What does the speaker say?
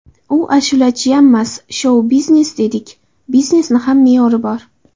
U ashulachiyammas, shou - biznes dedik, biznesni ham me’yori bor.